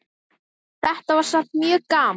Þetta var samt mjög gaman.